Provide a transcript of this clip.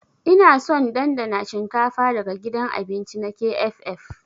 Ina son dandana shinkafa daga gidan abinci na KFF.